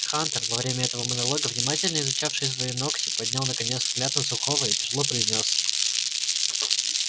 хантер во время этого монолога внимательно изучавший свои ногти поднял наконец взгляд на сухого и тяжело произнёс